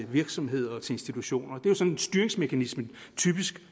virksomheder og institutioner det er sådan styringsmekanismen typisk